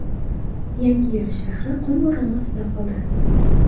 Yangiyo‘l shahri qum bo‘roni ostida qoldi.